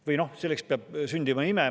Või noh, selleks peab sündima ime.